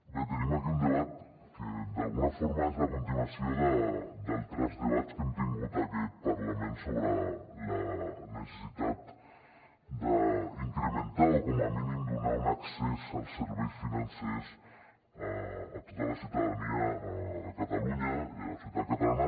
bé tenim aquí un debat que d’alguna forma és la continuació d’altres debats que hem tingut en aquest parlament sobre la necessitat d’incrementar o com a mínim donar un accés als serveis financers a tota la ciutadania de catalunya i a la societat catalana